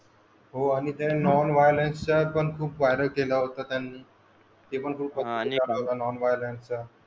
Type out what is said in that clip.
हो आणि non violence आपण खूप वायरल केला होता त्यांनी